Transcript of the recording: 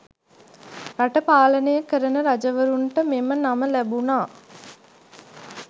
රට පාලනය කරන රජවරුන්ට මෙම නම ලැබුණා.